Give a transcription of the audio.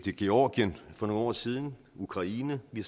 i georgien for nogle år siden i ukraine vi